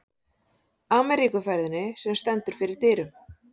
Ameríkuferðinni, sem stendur fyrir dyrum.